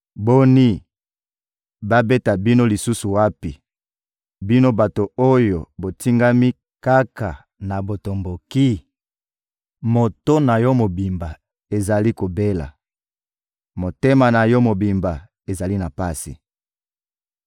Boni, babeta bino lisusu wapi, bino bato oyo botingami kaka na botomboki? Moto na yo mobimba ezali kobela, motema na yo mobimba ezali na pasi.